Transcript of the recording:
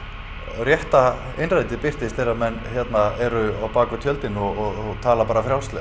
rétta innrætið birtist þegar að menn eru á bak við tjöldin og tala bara frjálslega